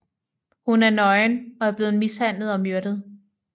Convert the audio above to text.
Hun er nøgen og er blevet mishandlet og myrdet